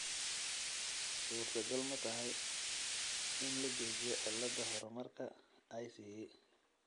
Suurtagal ma aha in la joojiyo cilada horumarka ICE .